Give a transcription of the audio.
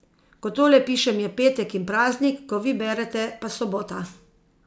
Ko tole pišem je petek in praznik, ko vi berete pa sobota.